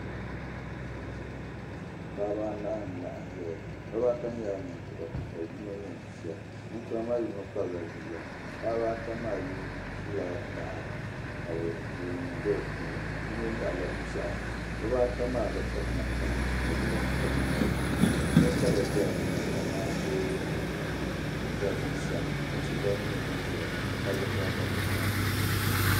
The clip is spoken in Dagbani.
Paɣiba anahi laɣim zaya. Bibaata nyɛla ninkura ka yino nyɛ bia. Ninkura maa yino kpabila bia paɣiba ata maa ʒila taha ka leemunima be di puuni. Yino nyaɣila piɛɣu. Bibaata maa bi piri namda ka yino m-piri namda bɛ puuni ya' kara zala nimaani kamandee jidambiisa ka tihi gba nyɛ din zaya ka palli baai gari nimaani.